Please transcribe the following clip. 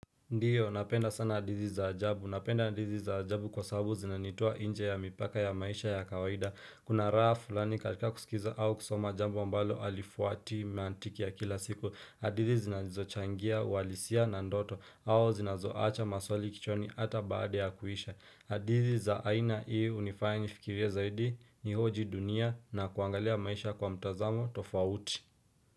Ndiyo napenda sana hadithi za ajabu. Napenda hadithi za ajabu kwa sababu zinanitoa nje ya mipaka ya maisha ya kawaida. Kuna raha fulani katika kusikiza au kusoma jambo ambalo halifuati mantiki ya kila siku. Hadithi zinazochangia uhalisia na ndoto au zinazo acha maswali kichwani hata baada ya kuisha. Hadithi za aina hii hunifanya nifikirie zaidi nihoji dunia na kuangalia maisha kwa mtazamo tofauti.